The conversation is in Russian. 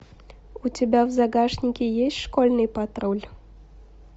у тебя в загашнике есть школьный патруль